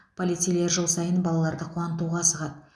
полицейлер жыл сайын балаларды қуантуға асығады